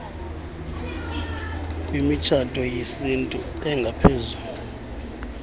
kwimitshato yesintu engaphezulu